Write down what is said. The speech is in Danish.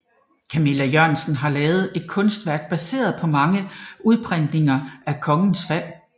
Kamilla Jørgensen har lavet et kunstværk baseret på mange udprintninger af Kongens Fald